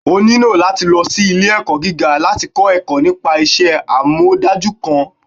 onílò latí lọ sí ile-ẹkọ gígá, latí kọ ẹkọ nípa iṣẹ amọdaju kan.